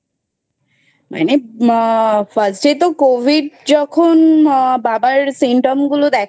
মানে First এ তো Covid যখন আ বাবার Symptom গুলো দেখা